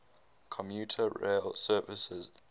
commuter rail services